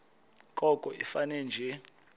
koko ifane nje